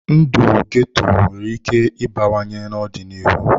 Ndụ ghetto nwere ike ịbawanye n'ọdịnihu.